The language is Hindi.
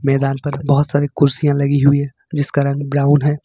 मैदान पर बहोत सारी कुर्सियां लगी हुई है जिसका रंग ब्राउन है।